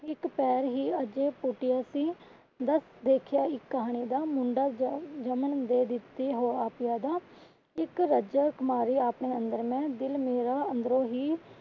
ਇੱਕ ਪੈਰ ਹੀ ਅਜੇ ਪੁਟਿਆ ਸੀ ਬਸ ਦੇਖਿਆ ਇਕ ਕਹਾਣੀ ਦਾ ਮੁੰਡਾ ਜਨਮ ਦੇ ਵਿੱਚ ਹੋਇਆ ਪਿਆ ਦਾ ਇਕ ਰੱਜਕ ਮਾਰੀ ਆਪਣੇ ਅੰਦਰ ਮੈਂ ਦਿਲ ਮੇਰਾ ਅੰਦਰੋਂ ਹੀ।